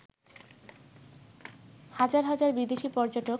হাজার হাজার বিদেশি পর্যটক